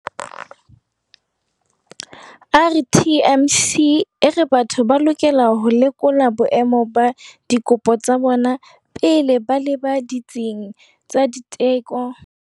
RTMC e re batho ba lokela ho lekola boemo ba dikopo tsa bona pele ba leba ditsing tsa diteko ba ilo di lata.